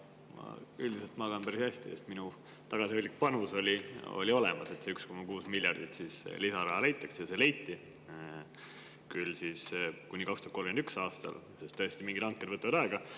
Ma üldiselt magan päris hästi, sest ka minu tagasihoidlik panus oli selles, et see 1,6 miljardit lisaraha leiti, küll kuni 2031. aastani, sest tõesti, mingid hanked võtavad aega.